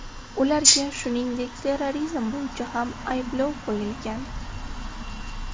Ularga, shuningdek, terrorizm bo‘yicha ham ayblov qo‘yilgan.